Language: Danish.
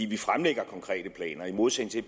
vi fremlægger konkrete planer i modsætning til